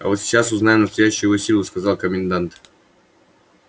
а вот сейчас узнаем настоящую его силу сказал комендант